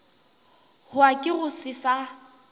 hwa ke go se sa